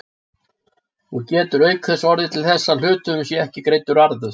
og getur auk þess orðið til þess að hluthöfum sé ekki greiddur arður.